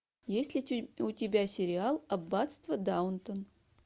есть ли у тебя сериал аббатство даунтон